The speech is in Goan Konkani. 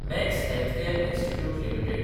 max healthcare institute limited